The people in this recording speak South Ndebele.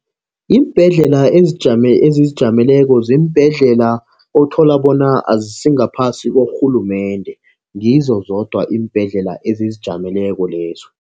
Iimbhedlela ezizijameleko ziimbhedlela othola bona azisingaphasi korhulumende. Ngizo zodwa iimbhedlela ezizijameleko lezo.